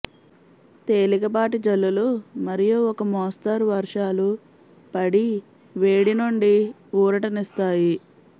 తేలికపాటి జల్లులు మరియు ఒక మోస్తరు వర్షాలు పడి వేడి నుండి ఊరట నిస్తాయి